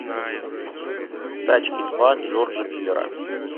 тачки два джорджа миллера